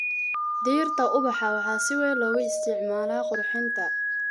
Dhirta ubaxa waxaa si weyn loogu isticmaalaa qurxinta.